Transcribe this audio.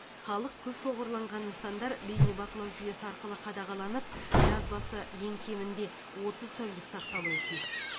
халық көп шоғырланған нысандар бейнебақылау жүйесі арқылы қадағаланып жазбасы ең кемінде отцыз тәулік сақталуы тиіс